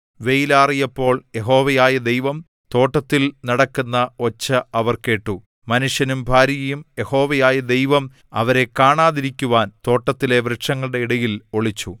വെയിലാറിയപ്പോൾ യഹോവയായ ദൈവം തോട്ടത്തിൽ നടക്കുന്ന ഒച്ച അവർ കേട്ടു മനുഷ്യനും ഭാര്യയും യഹോവയായ ദൈവം അവരെ കാണാതിരിക്കുവാൻ തോട്ടത്തിലെ വൃക്ഷങ്ങളുടെ ഇടയിൽ ഒളിച്ചു